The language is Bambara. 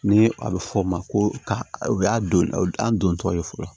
Ni a bɛ fɔ o ma ko ka u y'a don an don tɔw ye fɔlɔ